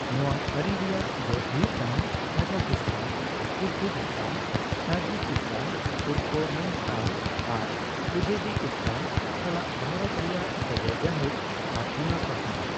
ᱱᱚᱣᱟ ᱟᱹᱨᱤ ᱨᱮᱭᱟᱜ ᱡᱚᱥ ᱦᱩᱭᱩᱜ ᱠᱟᱱᱟ ᱠᱟᱡᱟᱠᱷᱚᱥᱛᱟᱱ, ᱠᱤᱨᱜᱷᱤᱡᱥᱛᱟᱱ, ᱛᱟᱡᱤᱠᱤᱥᱛᱟᱱ, ᱛᱩᱨᱠᱚᱢᱮᱱᱤᱥᱛᱟᱱ, ᱟᱨ ᱩᱡᱵᱮᱠᱤᱥᱛᱟᱱ ᱥᱟᱞᱟᱜ ᱵᱷᱟᱨᱚᱛ ᱨᱮᱭᱟᱜ ᱥᱟᱹᱜᱟᱹᱭ ᱜᱟᱹᱦᱤᱨ ᱟᱨ ᱚᱱᱟ ᱯᱟᱥᱱᱟᱣ ᱾